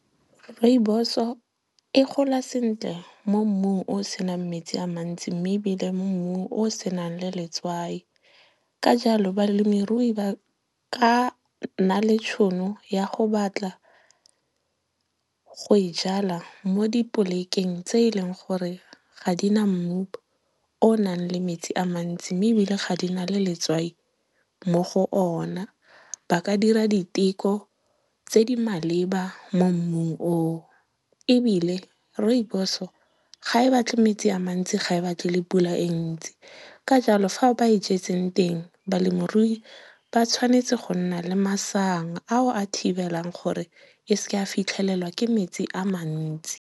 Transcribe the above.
Rooibos-o e gola sentle mo mmung o senang metsi a mantsi mme ebile mo mmung o o senang le letswai. Ka jalo, balemirui ba ka nna le tšhono ya go batla go e jala mo di polekeng tse e leng gore ga di na mmu o o nang le metsi a mantsi mme ebile ga di na le letswai mo go ona. Ba ka dira diteko tse di maleba mo mmung oo. Ebile, rooibos-o ga e batle metsi a mantsi, ga e batle le pula e e ntsi. Ka jalo fao ba e jetseng teng, balemirui ba tshwanetse go nna le masang ao a thibelang gore e seke ya fitlhelelwa ke metsi a mantsi.